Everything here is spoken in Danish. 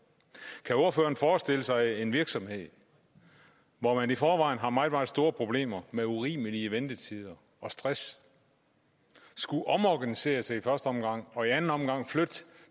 kan ordføreren forestille sig at en virksomhed hvor man i forvejen har meget meget store problemer med urimelige ventetider og stress skulle omorganisere sig i første omgang og i anden omgang flytte